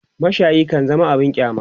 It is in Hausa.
mashayi kan zama abun kyama